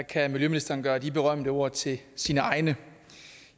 kan miljøministeren gøre de berømte ord til sine egne